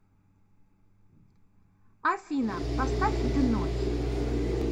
афина поставь дэной